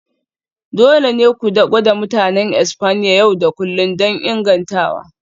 Dole ne ku gwada Mutanen Espanya yau da kullun don ingantawa.